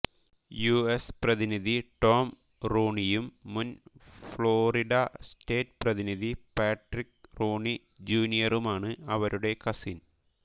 US പ്രതിനിധി Tom റൂണിയും മുൻ ഫ്ലോറിഡ സ്റ്റേറ്റ് പ്രതിനിധി പാട്രിക് റൂണി ജൂനിയറുമാണ് അവരുടെ കസിൻ